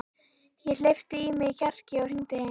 Ég hleypti í mig kjarki og hringdi heim.